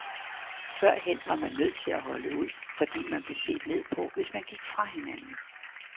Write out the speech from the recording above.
Førhen var man nødt til at holde ud, fordi man blev set ned på, hvis man gik fra hinanden.